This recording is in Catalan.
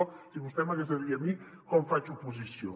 o sigui vostè m’hagués de dir a mi com faig oposició